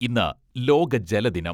ഇന്ന് ലോക ജലദിനം.